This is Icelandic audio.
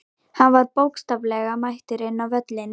Hann var bókstaflega mættur inn á völlinn.